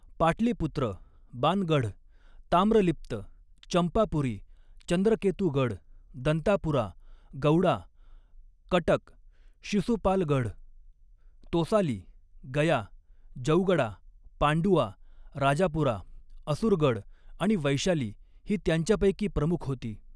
पाटलीपुत्र, बानगढ, ताम्रलिप्त, चंपापुरी, चंद्रकेतुगड, दंतापुरा, गौडा, कटक, शिसुपालगढ, तोसाली, गया, जौगडा, पांडुआ, राजापुरा, असुरगड आणि वैशाली ही त्यांच्यापैकी प्रमुख होती.